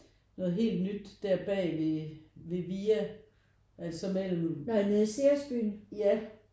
Noget helt nyt der bag ved VIA altså mellem ja